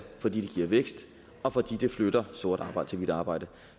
fordi den giver vækst og fordi den flytter sort arbejde til hvidt arbejde